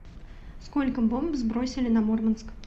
сколько бомб сбросили на мурманск